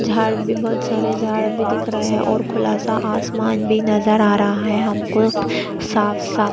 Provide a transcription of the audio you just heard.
झाड़ भी बहोत सारे झाड़ भी दिख रहै है और खुला सा आसमान भी नज़र आ रहा है हमको साफ़-साफ़--